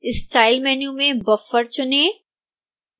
style menu में buffer चुनें